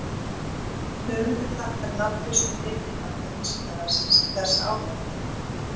Höfundur þakkar nafnlausum ritrýnanda Vísindavefsins þessa ábendingu.